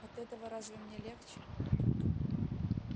от этого разве мне легче